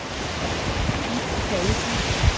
Ib Pallesen